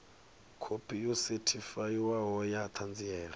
khophi yo sethifaiwaho ya ṱhanziela